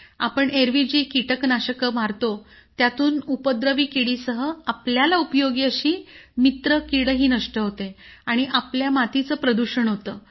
आपण एरवी जे कीटनाशक वगैरे मारतो त्यातून उपद्रवी किडीसह आपल्याला उपयोगी अशी मित्रकीडही नष्ट होते आणि आपल्या मातीचं प्रदूषण होतं